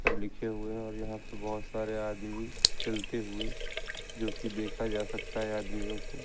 लिखे हुए है और यहां पे बहुत सारे आदमी चलते हुए जोकि देखा जा सकता है आदमियों को।